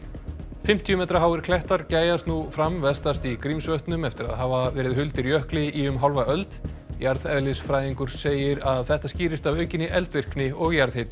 fimmtíu metra háir klettar gægjast nú fram vestast í Grímsvötnum eftir að hafa verið huldir jökli í um hálfa öld jarðeðlisfræðingur segir að þetta skýrist af aukinni eldvirkni og jarðhita